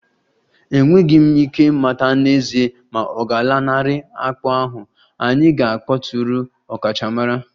Enweghị m ike ịmata n'ezie ma ọ ga-alanarị akpụ ahụ, anyị ga-akpọtụrụ ọkachamara